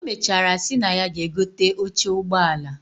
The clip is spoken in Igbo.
Omechara si na ya ga egote oche ugbọ ala